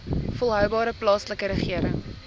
volhoubare plaaslike regering